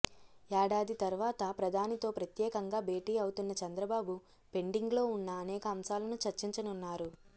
ఏడాది తర్వాత ప్రధానితో ప్రత్యేకంగా భేటీ అవుతున్న చంద్రబాబు పెండింగ్లో ఉన్న అనేక అంశా లను చర్చించనున్నారు